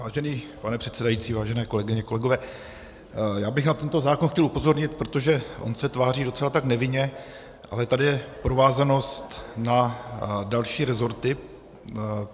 Vážený pane předsedající, vážené kolegyně, kolegové, já bych na tento zákon chtěl upozornit, protože on se tváří docela tak nevinně, ale tady je provázanost na další resorty.